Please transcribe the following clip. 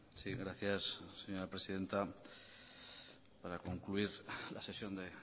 sí gracias señora presidenta para concluir la sesión de